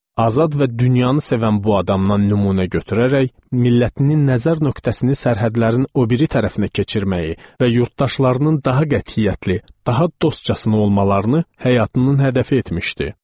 Azad və dünyanı sevən bu adamdan nümunə götürərək, millətinin nəzər nöqtəsini sərhədlərin o biri tərəfinə keçirməyi və yurdtaşlarının daha qətiyyətli, daha dostcasına olmalarını həyatının hədəfi etmişdi.